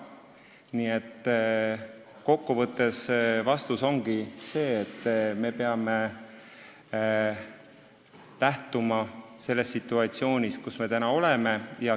Nii et vastus ongi see, et me peame lähtuma sellest situatsioonist, kus me oleme.